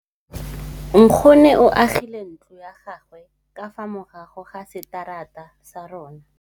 Nkgonne o agile ntlo ya gagwe ka fa morago ga seterata sa rona.